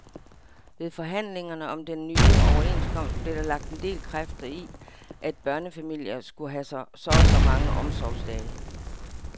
Ved forhandlingerne om den nye overenskomst blev der lagt en del kræfter i, at børnefamilier skulle have så og så mange omsorgsdage.